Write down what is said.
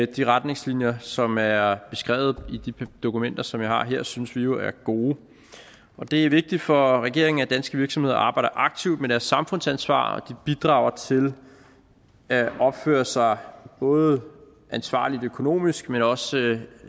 de retningslinjer som er er beskrevet i de dokumenter som jeg har her synes vi jo er gode det er vigtigt for regeringen at danske virksomheder arbejder aktivt med deres samfundsansvar og bidrager til at opføre sig både ansvarligt økonomisk men også